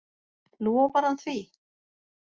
Lofar hann því?